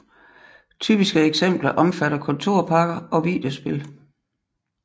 Typiske eksempler omfatter kontorpakker og videospil